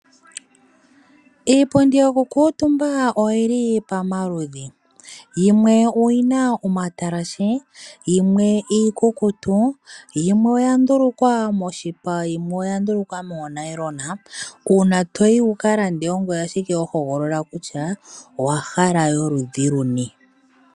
Iipundi yoku kuutumba oyili pomaludhi . Yimwe oyina omatalashe yimwe iikukutu, yimwe oya ndulukwa moshipa ,yimwe oya ndulukwa moo nayilona . Uuna toyi wukalande ongoye ashike ho hogolola kutya owahala yoludhi luni